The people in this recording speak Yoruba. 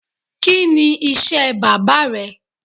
Kini iṣẹ baba rẹ?